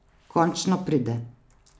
Končno pride.